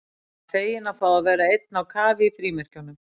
Bara feginn að fá að vera einn á kafi í frímerkjunum.